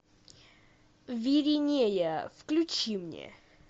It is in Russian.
виринея включи мне